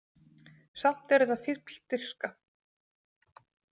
Samt er þetta fífldirfska.